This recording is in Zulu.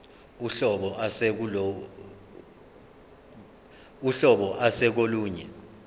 uhlobo ase kolunye